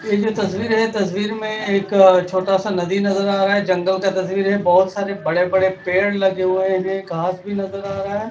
ये जो तस्वीर है तस्वीर में एक छोटा सा नदी नजर आ रहा है जंगल का तस्वीर है बहोत सारे बड़े बड़े पेड़ लगे हुए हैं घास भी नजर आ रहा है।